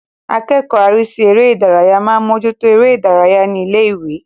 Akẹ́kọ̀ọ́ arísí eré ìdárayá máa ń mójú tó eré ìdárayá ní ilé-ìwé.